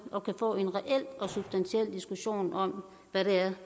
og kan få en reel og substantiel diskussion om hvad det er